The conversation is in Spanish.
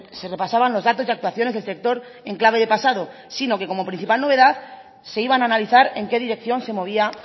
se repasaban los datos y actuaciones del sector en clave de pasado sino que como principal novedad se iban a analizar en qué dirección se movía